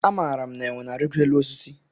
Amara m na enwe na arigo élú osisi.